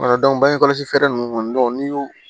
bangekɔlɔsi fɛɛrɛ ninnu kɔni n'i y'o